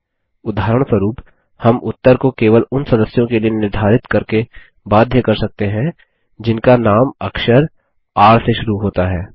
उदाहरणस्वरुप हम उत्तर को केवल उन सदस्यों के लिए निर्धारित करके बाध्य कर सकते हैं जिनका नाम अक्षर र से शुरू होता है